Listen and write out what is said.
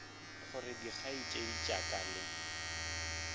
gore dikgaetšedi tša ka le